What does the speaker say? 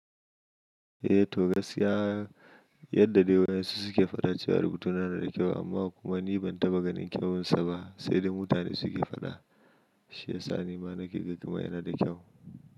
Eh to gaskiya yadda dai wayan su suke faɗa cewa rubutu na da kyau amma kuma ni ban taɓa ganin kyawunsa ba sai da mutane suke faɗa shi ya sa ni ma nake ga kamar yana da kyau.